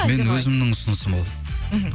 менің өзімнің ұсынысым ол мхм